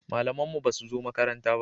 Malaman mu ba su zo makaranta ba